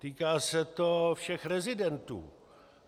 Týká se to všech rezidentů.